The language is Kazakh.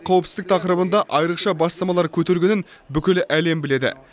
қауіпсіздік тақырыбында айрықша бастамалар көтергенін бүкіл әлем біледі